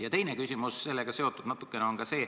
Ja teine küsimus sellega seoses.